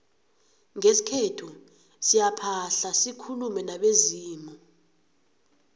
ngesikhethu siyaphahla sikulume nabezimu